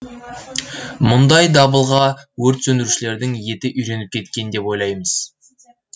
мұндай дабылға өрт сөндірушілердің еті үйреніп кеткен деп ойлаймыз